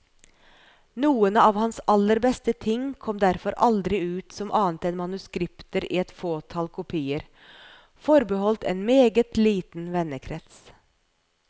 Noen av hans aller beste ting kom derfor aldri ut som annet enn manuskripter i et fåtall kopier, forbeholdt en meget liten vennekrets.